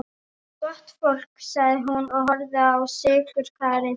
Gott fólk, sagði hún og horfði á sykurkarið.